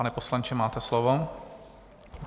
Pane poslanče, máte slovo.